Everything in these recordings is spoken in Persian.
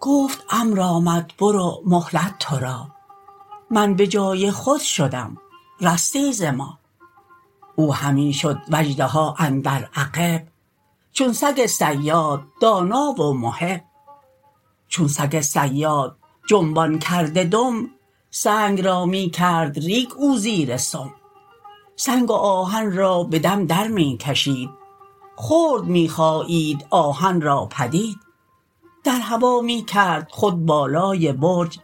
گفت امر آمد برو مهلت تو را من بجای خود شدم رستی ز ما او همی شد و اژدها اندر عقب چون سگ صیاد دانا و محب چون سگ صیاد جنبان کرده دم سنگ را می کرد ریگ او زیر سم سنگ و آهن را به دم در می کشید خرد می خایید آهن را پدید در هوا می کرد خود بالای برج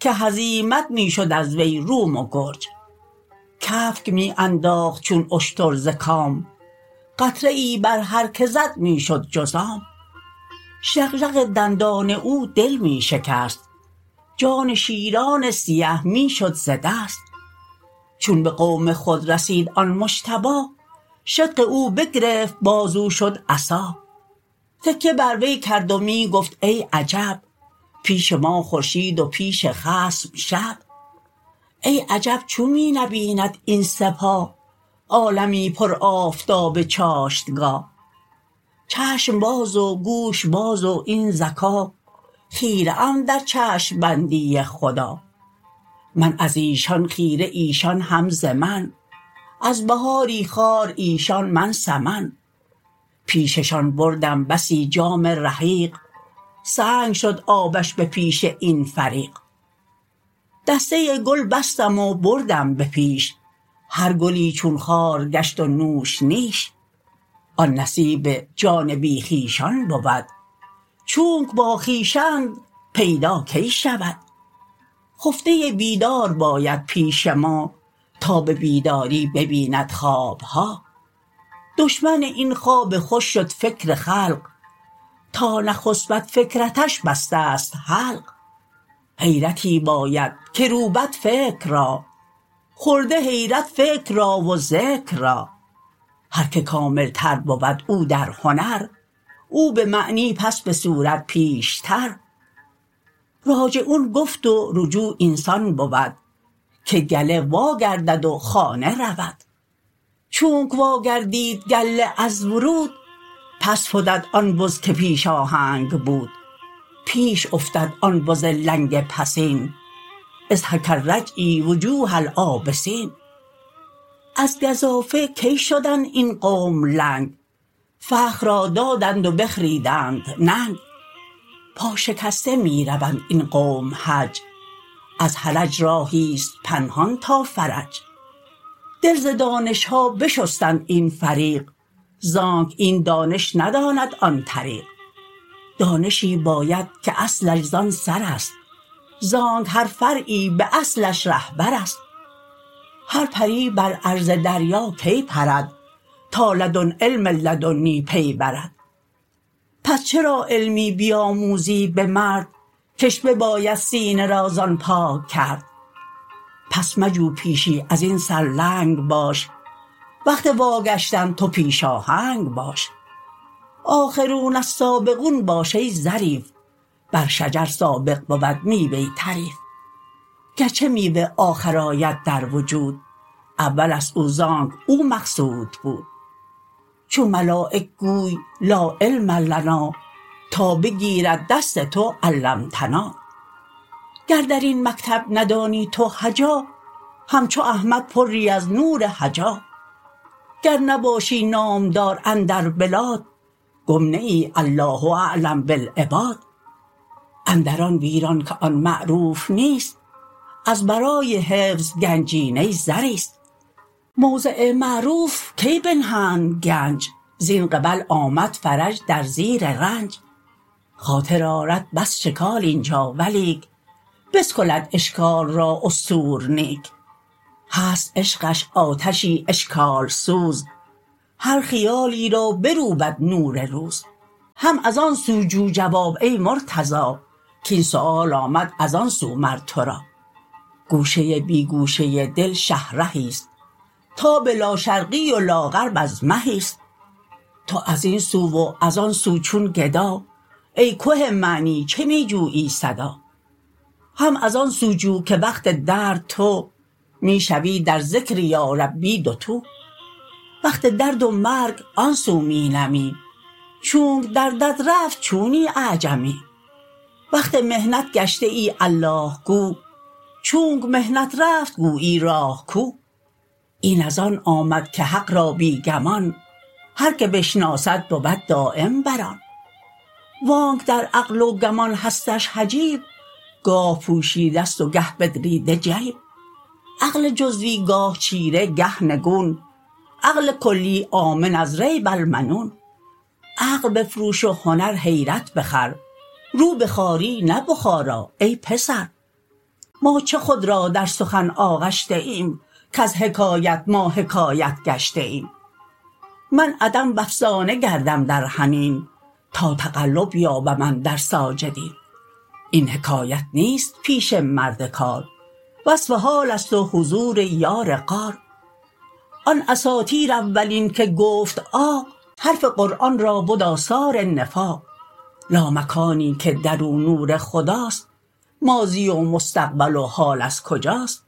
که هزیمت می شد از وی روم و گرج کفک می انداخت چون اشتر ز کام قطره ای بر هر که زد می شد جذام ژغژغ دندان او دل می شکست جان شیران سیه می شد ز دست چون به قوم خود رسید آن مجتبی شدق او بگرفت باز او شد عصا تکیه بر وی کرد و می گفت ای عجب پیش ما خورشید و پیش خصم شب ای عجب چون می نبیند این سپاه عالمی پر آفتاب چاشتگاه چشم باز و گوش باز و این ذکا خیره ام در چشم بندی خدا من ازیشان خیره ایشان هم ز من از بهاری خار ایشان من سمن پیششان بردم بسی جام رحیق سنگ شد آبش به پیش این فریق دسته گل بستم و بردم به پیش هر گلی چون خار گشت و نوش نیش آن نصیب جان بی خویشان بود چونک با خویش اند پیدا کی شود خفته بیدار باید پیش ما تا به بیداری ببیند خوابها دشمن این خواب خوش شد فکر خلق تا نخسپد فکرتش بستست حلق حیرتی باید که روبد فکر را خورده حیرت فکر را و ذکر را هر که کاملتر بود او در هنر او به معنی پس به صورت پیشتر راجعون گفت و رجوع این سان بود که گله وا گردد و خانه رود چونک واگردید گله از ورود پس فتد آن بز که پیش آهنگ بود پیش افتد آن بز لنگ پسین اضحک الرجعی وجوه العابسین از گزافه کی شدند این قوم لنگ فخر را دادند و بخریدند ننگ پا شکسته می روند این قوم حج از حرج راهیست پنهان تا فرج دل ز دانشها بشستند این فریق زانک این دانش نداند آن طریق دانشی باید که اصلش زان سرست زانک هر فرعی به اصلش رهبرست هر پری بر عرض دریا کی پرد تا لدن علم لدنی می برد پس چرا علمی بیاموزی به مرد کش بباید سینه را زان پاک کرد پس مجو پیشی ازین سر لنگ باش وقت وا گشتن تو پیش آهنگ باش آخرون السابقون باش ای ظریف بر شجر سابق بود میوه طریف گرچه میوه آخر آید در وجود اولست او زانک او مقصود بود چون ملایک گوی لا علم لنا تا بگیرد دست تو علمتنا گر درین مکتب ندانی تو هجا همچو احمد پری از نور حجی گر نباشی نامدار اندر بلاد گم نه ای الله اعلم بالعباد اندر آن ویران که آن معروف نیست از برای حفظ گنجینه زریست موضع معروف کی بنهند گنج زین قبل آمد فرج در زیر رنج خاطر آرد بس شکال اینجا ولیک بسکلد اشکال را استور نیک هست عشقش آتشی اشکال سوز هر خیالی را بروبد نور روز هم از آن سو جو جواب ای مرتضا کین سؤال آمد از آن سو مر تو را گوشه بی گوشه دل شه رهیست تاب لا شرقی و لا غرب از مهیست تو ازین سو و از آن سو چون گدا ای که معنی چه می جویی صدا هم از آن سو جو که وقت درد تو می شوی در ذکر یا ربی دوتو وقت درد و مرگ آن سو می نمی چونک دردت رفت چونی اعجمی وقت محنت گشته ای الله گو چونک محنت رفت گویی راه کو این از آن آمد که حق را بی گمان هر که بشناسد بود دایم بر آن وانک در عقل و گمان هستش حجاب گاه پوشیدست و گه بدریده جیب عقل جزوی گاه چیره گه نگون عقل کلی آمن از ریب المنون عقل بفروش و هنر حیرت بخر رو به خواری نه بخارا ای پسر ما چه خود را در سخن آغشته ایم کز حکایت ما حکایت گشته ایم من عدم و افسانه گردم در حنین تا تقلب یابم اندر ساجدین این حکایت نیست پیش مرد کار وصف حالست و حضور یار غار آن اساطیر اولین که گفت عاق حرف قرآن را بد آثار نفاق لامکانی که درو نور خداست ماضی و مستقبل و حال از کجاست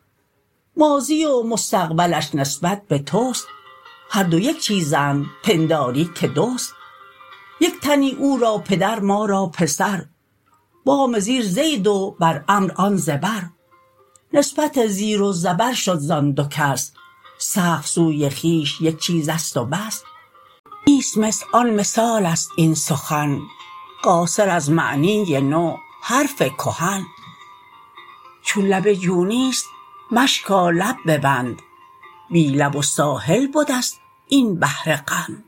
ماضی و مستقبلش نسبت به تست هر دو یک چیزند پنداری که دوست یک تنی او را پدر ما را پسر بام زیر زید و بر عمرو آن زبر نسبت زیر و زبر شد زان دو کس سقف سوی خویش یک چیزست بس نیست مثل آن مثالست این سخن قاصر از معنی نو حرف کهن چون لب جو نیست مشکا لب ببند بی لب و ساحل بدست این بحر قند